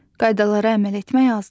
Qaydalara əməl etmək azdır.